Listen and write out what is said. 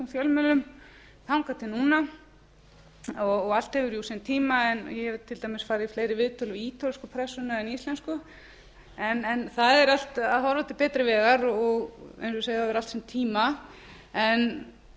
fjölmiðlum þangað til núna og allt hefur jú sinn tíma ég hef til dæmis farið i fleiri viðtöl við ítölsku pressuna en íslensku en það er allt að horfa til betri vegar og eins og ég segi það hefur